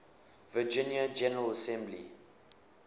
virginia general assembly